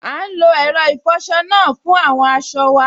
À n lo ẹ̀rọ ìfọsọ náà fún àwọn aṣọ wa